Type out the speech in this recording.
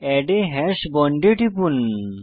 add a hash bond এ টিপুন